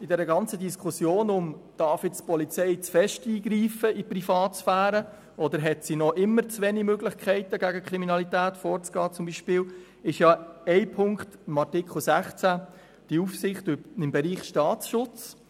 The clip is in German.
In der ganzen Diskussion darüber, ob die Polizei zu stark in die Privatsphäre eingreifen darf oder ob sie im Gegenteil noch immer zu wenig Möglichkeiten hat, gegen die Kriminalität vorzugehen, ist ein Punkt in Artikel 16 wichtig, die Aufsicht im Bereich Staatsschutz.